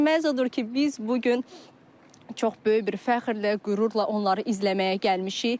Odur ki, biz bu gün çox böyük bir fəxrlə, qürurla onları izləməyə gəlmişik.